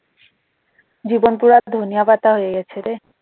জীবন পুরা ধনিয়া পাতা হয়ে গেছে রে